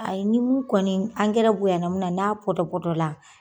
Ayi ni mun kɔni bonya na min na n'a pɔtɔpɔ la